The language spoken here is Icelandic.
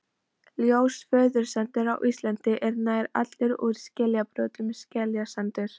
Ljós fjörusandur á Íslandi er nær allur úr skeljabrotum, skeljasandur.